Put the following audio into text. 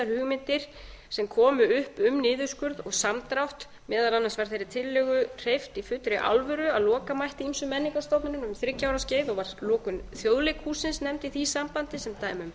hugmyndir sem komu upp um niðurskurð og samdrátt meðal annars var þeirri tillögu hreyft í fullri alvöru að loka mætti ýmsum menningarstofnunum um þriggja ára skeið var lokun þjóðleikhússins nefnd í því sambandi sem dæmi um